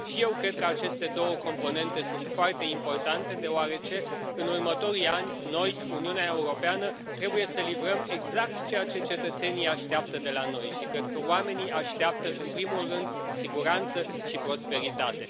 Și eu cred că aceste două componente sunt foarte importante, deoarece în următorii ani noi, Uniunea Europeană, trebuie să livrăm exact ceea ce cetățenii așteaptă de la noi și cred că oamenii așteaptă, în primul rând, siguranță și prosperitate.